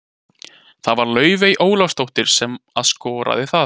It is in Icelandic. Það var Laufey Ólafsdóttir sem að skoraði það.